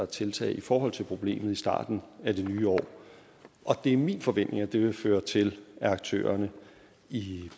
tiltag i forhold til problemet i starten af det nye år og det er min forventning at det vil føre til at aktørerne i